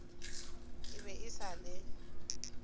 e be e sa le